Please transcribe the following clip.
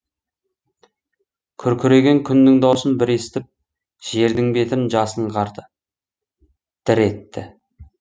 күркіреген күннің даусын бір естіп жердің бетін жасын қарды дір етті